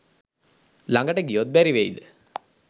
ළඟට ගියොත් බැරි වෙයිද